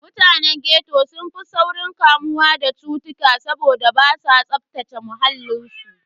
Mutanen ghetto sun fi saurin kamuwa da cutuka saboda basu tsaftace muhallin su.